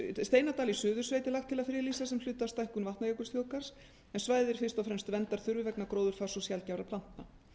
áætluninni steinadal í suðursveit er lagt til að friðlýsa sem hluta af stækkun vatnajökulsþjóðgarðs en svæðið er fyrst og fremst verndarþurfi vegna gróðurfars og sjaldgæfra plantna